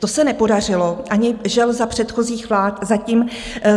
To se nepodařilo žel ani za předchozích vlád.